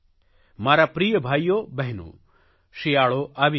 મારા પ્રિય ભાઇઓ બહેનો શિયાળો આવી ગયો છે